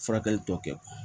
Furakɛli tɔ kɛ